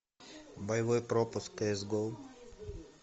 боевой пропуск кс гоу